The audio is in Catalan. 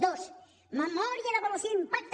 dos memòria d’avaluació d’impacte